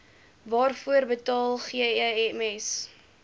waarvoor betaal gems